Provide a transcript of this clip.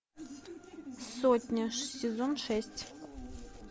сотня сезон шесть